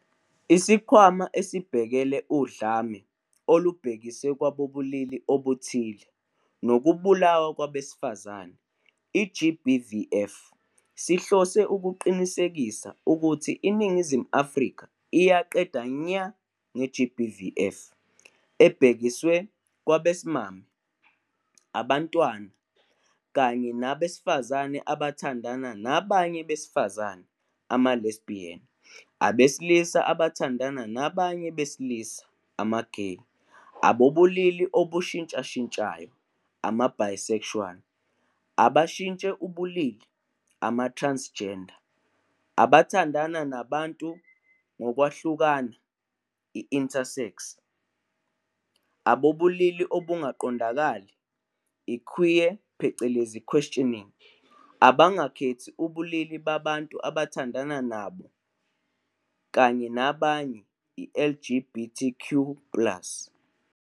ISikhwama Esibhekele uDlame Olubhekiswe Kwabobulili Obuthile Nokubulawa Kwabesifazane, i-GBVF, sihlose ukuqinisekisa ukuthi iNingizimu Afrika iyaqeda nya nge-GBVF ebhekiswe kwabesimame, abantwana, kanye nabesifazane abathandana nabanye besifazane, ama-lesbian, abesilisa abathandana nabanye besilisa, ama-gay, abanobulili obushintshashintshayo, ama-bisexual, abashintshe ubulili, ama-transgender, abathandana nabantu ngokwahlukana, i-intersex, abanobulili obungaqondakali, i-queer, questioning, abangakhethi ubulili babantu abathandana nabo kanye nabanye, i-LGBTQIA plus.